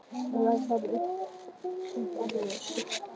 Þá rak amma upp annað öskur.